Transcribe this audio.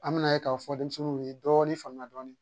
An bɛna ye k'a fɔ denmisɛnninw ye dɔɔnin faamuya dɔɔnin